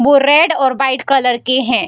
वो रेड और white colour की है।